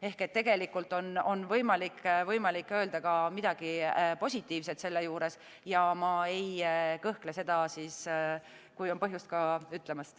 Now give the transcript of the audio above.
Ehk tegelikult on võimalik öelda ka midagi positiivset, ja kui on põhjust, ma ei kõhkle seda ütlemast.